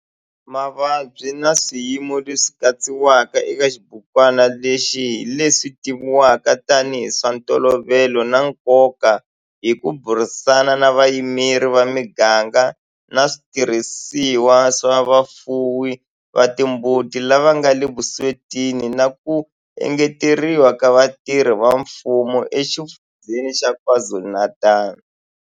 Mavabyi na swiyimo leswi katsiwaka eka xibukwana lexi hi leswi tivivwaka tanihi hi swa ntolovelo na nkoka hi ku burisana na vayimeri va miganga na switirhisiwa swa vafuwi va timbuti lava nga le vuswetini na ku engeteriwa ka vatirhi va mfumo eXifundzheni xa KwaZulu-Natal.